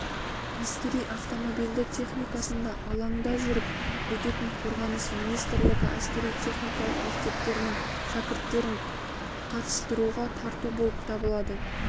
әскери автомобильді техникасында алаңда жүріп өтетін қорғаныс министрлігі әскери-техникалық мектептерінің шәкірттерін қатыстыруға тарту болып табылады